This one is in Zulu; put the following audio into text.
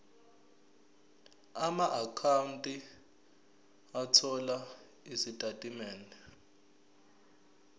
amaakhawunti othola izitatimende